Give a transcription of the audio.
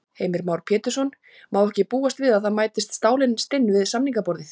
Heimir Már Pétursson: Má ekki búast við að það mætist stálin stinn við samningaborðið?